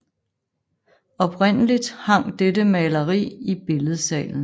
Oprindeligt hang dette maleri i Billedsalen